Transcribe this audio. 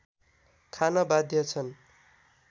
खान बाध्य छन्